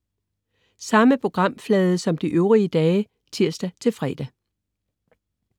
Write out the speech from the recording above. Samme programflade som de øvrige dage (tirs-fre)